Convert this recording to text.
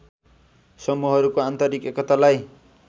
समूहहरूको आन्तरिक एकतालाई